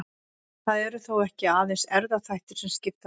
Það eru þó ekki aðeins erfðaþættir sem skipta máli.